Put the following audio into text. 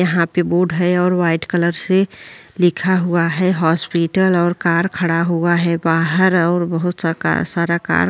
यहाँ पे बोर्ड है और वाइट कलर से लिखा हुआ है हॉस्पिटल और कार खड़ा हुआ है बाहर और बहौत सा कार सारा कार --